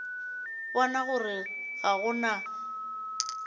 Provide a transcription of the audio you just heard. bona gore ga go na